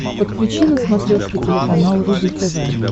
подключи на смотрешке телеканал рубль тв